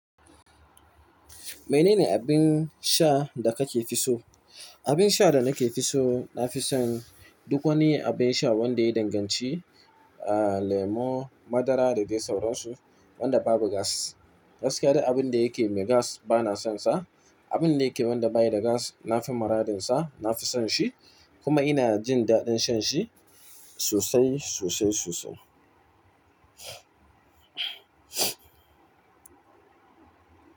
Menene abin sha da kake fi so? Abin sha da nake fi so, na fi son duk wani abin sha wanda ya yi danganci, ah, lemo, madara da dai sauransu, wanda babu gas. Gaskiya duk abin da yake mai gas ba na son sa. Abin da yake wanda bayi da gas, na fi miradinsa, na fi son shi, kuma ina jin daɗin shan shi sosai, sosai, sosai.